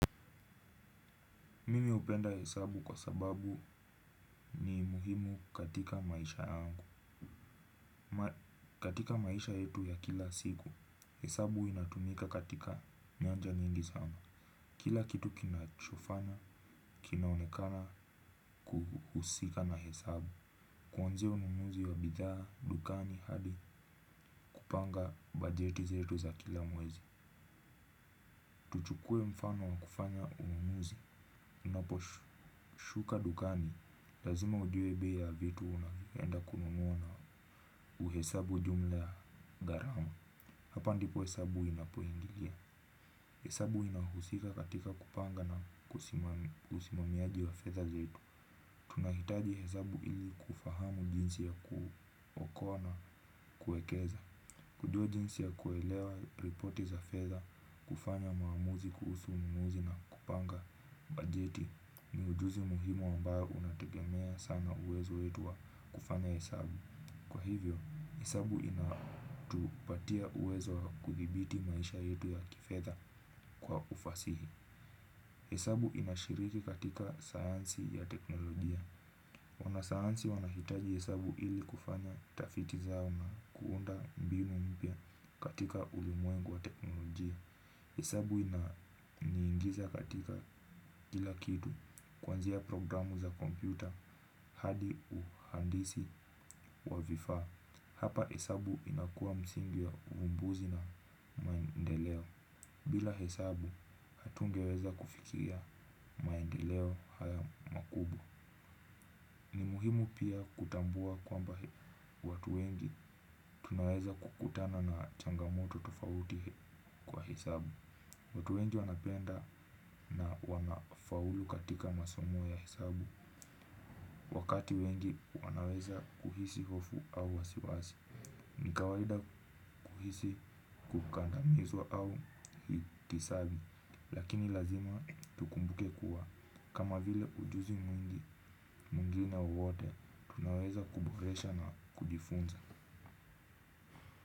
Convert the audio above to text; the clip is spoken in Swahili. Mimi hupenda hesabu kwa sababu ni muhimu katika maisha yangu. Katika maisha yetu ya kila siku, hesabu inatumika katika nyanja nyingi sana. Kila kitu kinachofana, kinaonekana kuhusika na hesabu. Kuanzia ununuzi wa bidhaa, dukani hadi kupanga bajeti zetu za kila mwezi. Tuchukue mfano wa kufanya ununuzi. Unapo shuka dukani, lazima ujue bei ya vitu unavyoenda kununua uhesabu jumla ya gharama. Hapa ndipo hesabu inapoingilia. Hesabu inahusika katika kupanga na usimamiaji wa fedha zetu tunahitaji hesabu ili kufahamu jinsi ya kuokoa na kuekeza. Kujua jinsi ya kuelewa ripoti za fedha, kufanya maamuzi, kuhusu ununuzi na kupanga bajeti. Ni ujuzi muhimu ambao unategemea sana uwezo wetu wa kufanya hesabu. Kwa hivyo, hesabu inatupatia uwezo wa kudhibiti maisha yetu ya kifedha kwa ufasihi. Hesabu inashiriki katika sayansi ya teknolojia wanasayansi wanahitaji hesabu ili kufanya tafiti zao na kuunda mbinu mpya katika ulimwengu wa teknolojia. Hesabu ina niingiza katika kila kitu kuanzia programu za kompyuta hadi uhandisi wa vifaa. Hapa hesabu inakuwa msingi ya uvumbuzi na maendeleo bila hesabu hatungeweza kufikiria maendeleo haya makubwa ni muhimu pia kutambua kwamba watu wengi tunaweza kukutana na changamoto tofauti kwa hesabu. Watu wengi wanapenda na wanafaulu katika masomo ya hesabu. Wakati wengi wanaweza kuhisi hofu au wasiwasi ni kawaida kuhisi kukandamizwa au hitisabi. Lakini lazima tukumbuke kuwa kama vile ujuzi mwingi mwingine wowote tunaweza kuboresha na kujifunza.